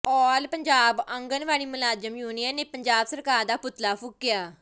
ਆਲ ਪੰਜਾਬ ਆਂਗਨਵਾੜੀ ਮੁਲਾਜ਼ਮ ਯੂਨੀਅਨ ਨੇ ਪੰਜਾਬ ਸਰਕਾਰ ਦਾ ਪੁਤਲਾ ਫੂਕਿਆ